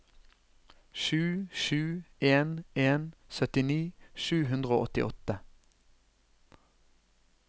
sju sju en en syttini sju hundre og åttiåtte